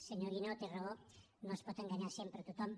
senyor guinó té raó no es pot enganyar sempre tothom